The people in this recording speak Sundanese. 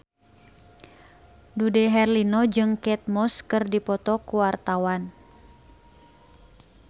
Dude Herlino jeung Kate Moss keur dipoto ku wartawan